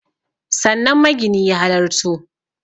Sannan magini ya halarto